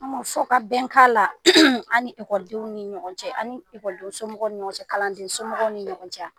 A' ma fɔkabɛn ka la an ni ekɔlidenw ni ɲɔgɔn cɛ a' ni ekɔlidensomɔgɔ ni ɲɔgɔn cɛ kalandensomɔgɔw ni ɲɔgɔn cɛ